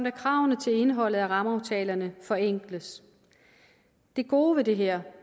at kravene til indholdet af rammeaftalerne forenkles det gode ved det her